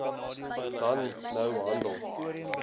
dan nou handel